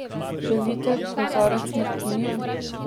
Želite kozarec martinija?